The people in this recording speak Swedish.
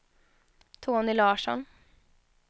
Tony Larsson